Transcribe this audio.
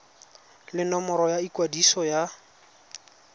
le nomoro ya ikwadiso ya